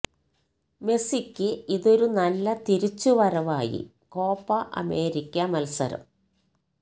മെസ്സിക്ക് ഇതൊരു നല്ല തിരിച്ചു വരവായി കോപ്പ അമേരിക്ക മത്സരം